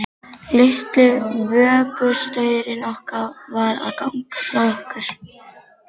Litli vökustaurinn okkar var að ganga frá okkur.